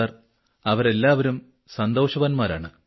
sir അവലെല്ലാവരും സന്തോഷവാന്മാരാണ്